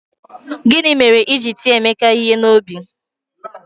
Gini mere i ji tie Emeka ihe n'obi?